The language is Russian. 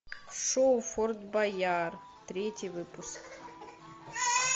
шоу форт боярд третий выпуск